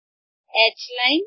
H line